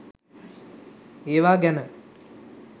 ඒවා ගැන